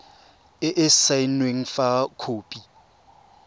e e saenweng fa khopi